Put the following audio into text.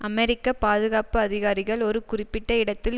அமெரிக்க பாதுகாப்பு அதிகாரிகள் ஒரு குறிப்பிட்ட இடத்தில்